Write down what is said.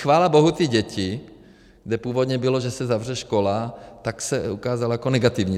Chvála bohu ty děti, kde původně bylo, že se zavře škola, tak se ukázalo jako negativní.